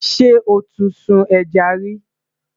sọ tí sùn ejá rí?